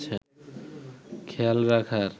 খেয়াল রাখার